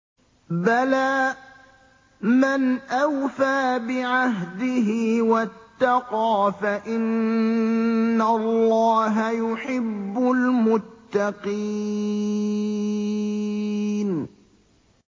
بَلَىٰ مَنْ أَوْفَىٰ بِعَهْدِهِ وَاتَّقَىٰ فَإِنَّ اللَّهَ يُحِبُّ الْمُتَّقِينَ